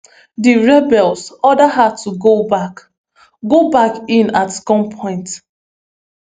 di rebels order her to go back go back in at gunpoint